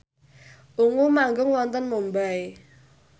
Ungu manggung wonten Mumbai